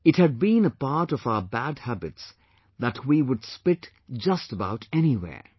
It had been a part of our bad habits that we would spit just about anywhere